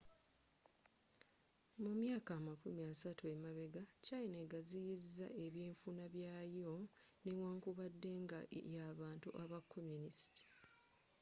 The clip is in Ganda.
mu myaka amakumi asatu emabegga china eggaziyiza ebynfuna byayo newankubadde nga y'abantu aba communist